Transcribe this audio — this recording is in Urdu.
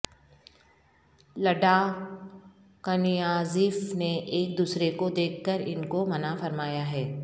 لڈا کنیازیف نے ایک دوسرے کو دیکھ کر ان کو منع فرمایا ہے